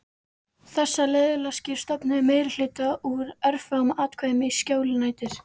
Þessar liðleskjur stofnuðu meirihluta úr örfáum atkvæðum í skjóli nætur.